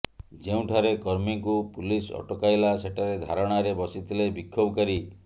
ଯେଉଁଠାରେ କର୍ମୀଙ୍କୁ ପୁଲିସ ଅଟକାଇଲା ସେଠାରେ ଧାରଣାରେ ବସିଥିଲେ ବିକ୍ଷୋଭକାରୀ